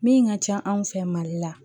Min ka ca anw fɛ mali la